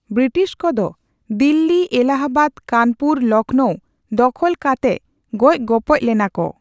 British ᱠᱚᱫᱚ ᱫᱤᱞᱞᱤ, ᱮᱞᱟᱦᱟᱵᱟᱫ, ᱠᱟᱱᱯᱩᱨ, ᱞᱚᱠᱱᱳ ᱫᱚᱠᱷᱚᱞ ᱠᱟᱛᱮᱜ ᱜᱚᱡᱽᱼᱜᱚᱯᱚᱡᱽ ᱞᱮᱱᱟ ᱠᱚ ᱾